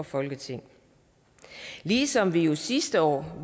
folketinget ligesom vi jo sidste år